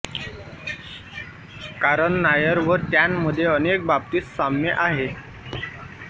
कारण नायर व त्यांमध्ये अनेक बाबतीत साम्य आहे